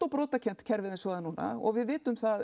brotakennt kerfið eins og það er núna og við vitum það